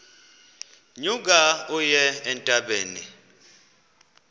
nyuka uye entabeni